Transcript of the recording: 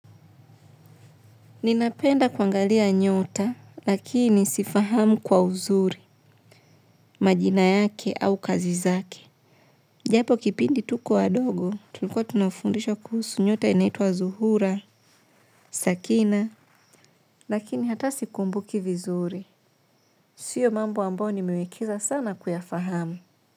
Ninapenda kuangalia nyota lakini sifahamu kwa uzuri majina zake au kazi zake. Japo kipindi tuko wadogo, tulikuwa tunafundishwa kuhusu nyota inaitwa zuhura, sakina. Lakini hata sikumbuki vizuri. Siyo mambo ambayo nimewekeza sana kuyafahamu.